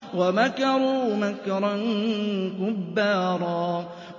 وَمَكَرُوا مَكْرًا كُبَّارًا